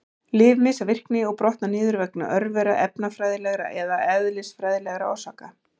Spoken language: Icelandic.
Lyf missa virkni og brotna niður vegna örvera, efnafræðilegra eða eðlisfræðilegra orsaka.